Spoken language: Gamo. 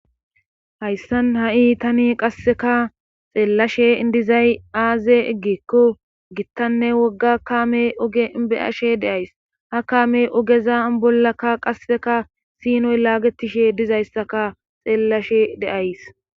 hayssan ha7i tani qasseka xeellashe idizay aaze eggikko gittanne wogga kaame oge beyashe deays ha kaamey ogeza bollakka qasseka siinoy laagetishe dizayssaka xeellashe deays